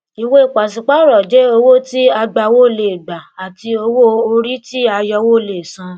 ìwé pàṣípààrọ jẹ owó tí agbawó lè gbà àti owó orí tí ayọwó lè san